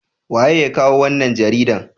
waye ya kawo wannan jaridan?